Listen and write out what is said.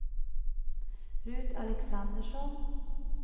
Rut Alexandersson